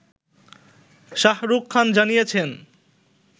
শাহরুখ খান জানিয়েছেন